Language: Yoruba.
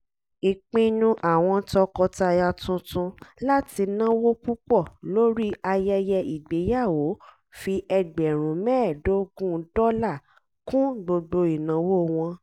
ìpinnu àwọn tọkọtaya tuntun láti náwó púpọ̀ lórí ayẹyẹ ìgbéyàwó fi ẹgbẹ̀rún mẹ́ẹ̀dọ́gún dọ́là kún gbogbo ìnáwó wọn